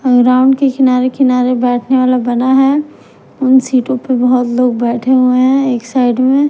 Ground के किनारे-किनारे बैठने वाला बना है उन सीटों पर बहुत लोग बैठे हुए हैं एक साइड है।